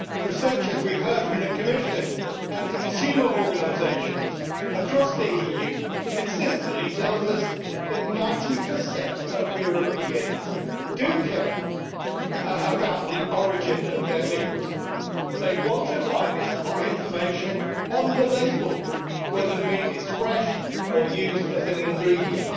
Research, as we have heard from the Commission and consumer organisations across the EU, consistently tells us that 90 of Europeans do care about the origin of their meat. They want to find this information on the label, whether the meat is fresh or used as an ingredient.